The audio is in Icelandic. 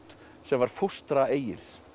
sem var fóstra Egils